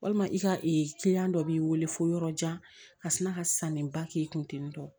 Walima i ka kiliyan dɔ b'i wele fo yɔrɔ jan ka tila ka sannen ba k'i kun